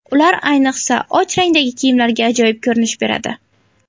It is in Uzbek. Ular ayniqsa, och rangdagi kiyimlarga ajoyib ko‘rinish beradi.